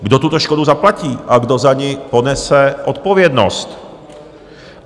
Kdo tuto škodu zaplatí a kdo za ni ponese odpovědnost?